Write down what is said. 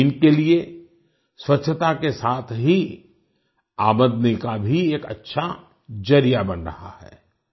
ये इनके लिए स्वच्छता के साथ ही आमदनी का भी एक अच्छा जरिया बन रहा है